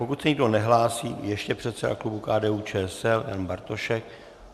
Pokud se nikdo nehlásí... ještě předseda klubu KDU-ČSL Jan Bartošek.